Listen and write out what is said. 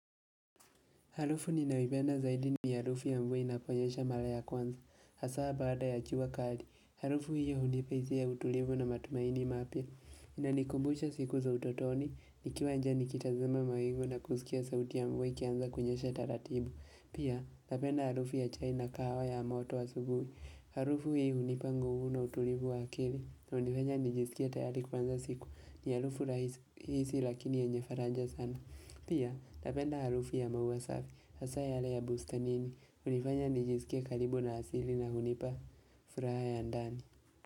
Harufu ninayoipenda zaidi ni harufu ya mvua inaponyesha mara ya kwanza. Hasaa baada ya jua kali. Harufu hiyo hunipa hisia ya utulivu na matumaini mapya. Inanikumbusha siku za utotoni. Nikiwa njaa nikitazama mawingu na kusikia sauti ya mvua ikianza kunyesha taratibu. Pia, napenda harufu ya chai na kawaha ya moto wa asubuhi. Harufu hiyo hunipa nguvu na utulivu wa akili. Inanifanya nijisikia tayari kuanza siku. Ni harufu rahisi lakini yenye faraja sana. Pia, napenda harufu ya maua safi, hasaa yale ya bustanini, hunifanya nijisikie karibu na asili na hunipa, furaha ya ndani.